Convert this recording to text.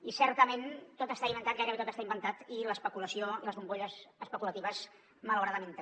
i certament tot està inventat gairebé tot està inventat i l’especulació i les bombolles especulatives malauradament també